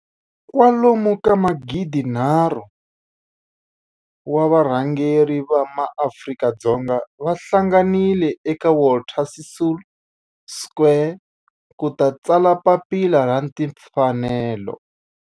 Kwalomu ka magidinharhu, wa varhangeri va maAfrika-Dzonga va hlanganile eka Walter Sisulu Square ku ta tsala Papila ra Tinfanelo.